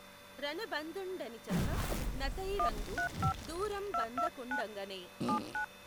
రణబంధుండనిచెప్ప నతైఱఁగు దూరంబందకుండంగనే